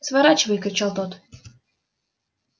сворачивай кричал тот